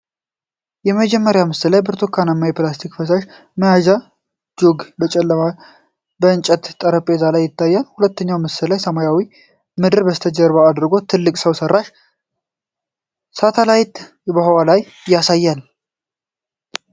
የመጀመሪያው ምስል ላይ በብርቱካናማ ፕላስቲክ ፈሳሽ መያዣ (ጁግ) በጨለማ የእንጨት ጠረጴዛ ላይ ይታያል። ሁለተኛው ምስል ሰማያዊው ምድርን ከበስተጀርባ አድርጎ ትልቅ ሰው ሠራሽ ሳተላይትን በህዋ ላይ ያሳያል።